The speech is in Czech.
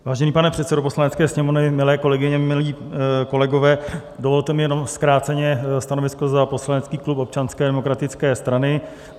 Vážený pane předsedo Poslanecké sněmovny, milé kolegyně, milí kolegové, dovolte mi jenom zkráceně stanovisko za poslanecký klub Občanské demokratické strany.